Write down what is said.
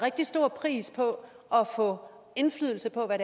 rigtig stor pris på at få indflydelse på hvad